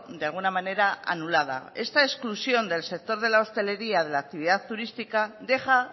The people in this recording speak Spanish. de alguna manera anulada esta excusión del sector de la hostelería de la actividad turística deja